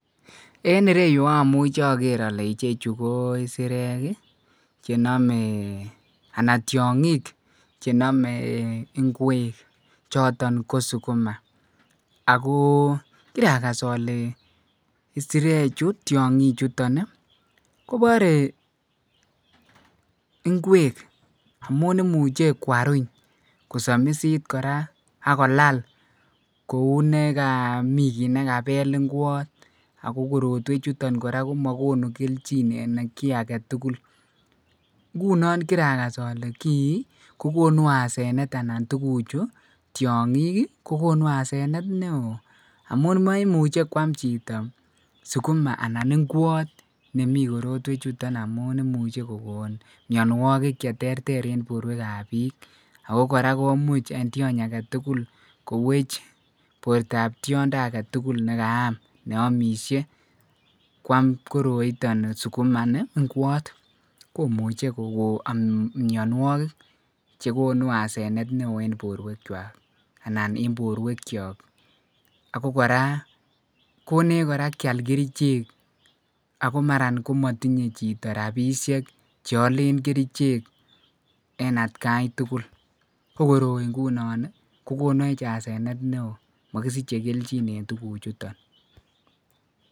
en ireyuu omuche ogeer ole ichechu ko isireek iih chenomee, anan tyongik chenome ngweek choton ko suguma, agoo kiragas ole isireek chu tyongiik chuton iih koboree ngweek amuun imuche kwaruny kosamisiit koraa ak kolal kouu negaa mii kiit negabeel ngwoot ago korotwek chuton koraa komagonu kelchin en kii agetugul, ngunon kiragas ole kii kogonuu asenet anan tuguk chu tyongiik iih kogonu asenet neoo amuu moimuche kwaam chito ngwoot anan suguma nemii korotwek chuton amuun imuche kogoon mnywogik cheterter en borweek ab biik, ago koraa komuch en tyoony agetugul koweech bortoo ab tyondo agetugul negaam neomisyee kwaam koroiton suguma ini ngwoot komuche kogoon mnyonwogik chegonu asenet en borweek chwaak anan en borweek kyook, ago koraa konech koraa kyaal kerich agomara komotinye chito rabisheek cheolen kericheek en atkai tugul ko koroi ngunon iih kogoneech asenet neoo mogisiche kelchin en tuguk chuton.